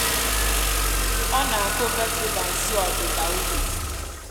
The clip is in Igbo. ọ na-akụ vetiver nso ọdụda ubi